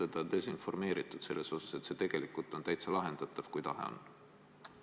Või on teda desinformeeritud selles osas, et see mure on tegelikult täitsa lahendatav, kui tahe on?